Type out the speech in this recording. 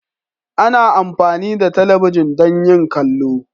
Ana amfani da talabijin don yin kallo.